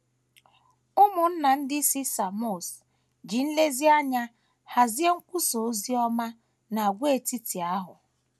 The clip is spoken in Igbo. Ụmụnna ndị si Samọs ji nlezianya hazie nkwusa ozi ọma n’àgwàetiti ahụ.